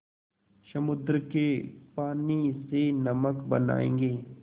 समुद्र के पानी से नमक बनायेंगे